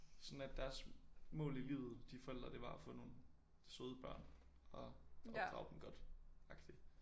Sådan at deres mål i livet de forældre det var at få nogle søde børn og opdrage dem godt agtig